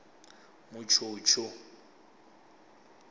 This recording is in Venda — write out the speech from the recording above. mutshutshu